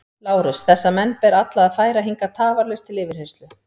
LÁRUS: Þessa menn ber alla að færa hingað tafarlaust til yfirheyrslu.